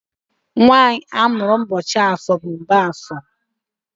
nwanyị amụrụ ụbọchị afọ bụ Mgbafọ.